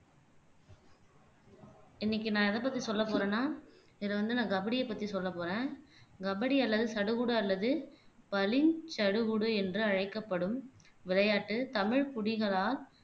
இன்னைக்கு நான் எதைப்பத்தி சொல்லப்போறேன்னா இதை வந்து நான் கபடியைப் பத்தி சொல்லப் போறேன் கபடி அல்லது சடுகுடு அல்லது பளி சடுகுடு என்று அழைக்கப்படும் விளையாட்டு தமிழ் குடிகளால்